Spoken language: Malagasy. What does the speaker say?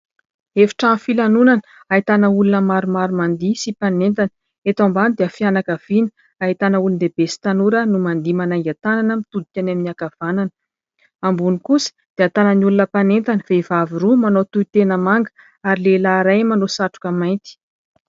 Efitrano filanonana ahitana olona maromaro mandihy sy mpanentana. Eto ambany dia fianakaviana, ahitana olon-dehibe sy tanora no mandihy manainga tanana mitodika any amin'ny ankavanana. Ambony kosa dia ahitana ny olona mpanentana : vehivavy roa manao tohitena manga ary lehilahy iray manao satroka mainty.